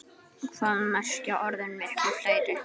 Hvað merkja orðin miklu fleiri?